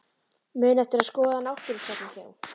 Muna eftir að skoða náttúrusafnið hjá